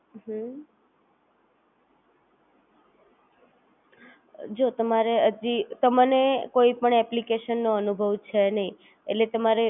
અથવા કોઈના હાથમાં લાગી જાય તો બી તમારી ચિંતા કરવાની જરૂર છે નહીં કારણ કે કોઈપણ અત્યારેએટલું બધું ક્લેવર હોતું નથી હોશિયાર હોતું